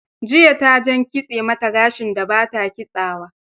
Juya ta jan kitse mata gashin da ba ta kitsawa.